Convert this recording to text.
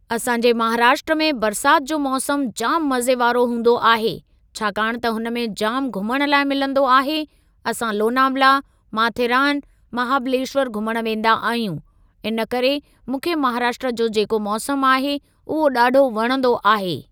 असांजे महाराष्ट्र में बरसात जो मौसम जाम मज़े वारो हूंदो आहे। छाकाणि त हुन में जामु घुमण लाइ मिलंदो आहे। असां लोनावला, माथेरान, महाबलेशवर घुमण वेंदा आहियूं। इनकरे मूंखे महाराष्ट्र जो जेको मौसम आहे उहो ॾाढो वणंदो आहे।